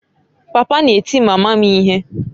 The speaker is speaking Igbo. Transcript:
Papa na-eti mama m ihe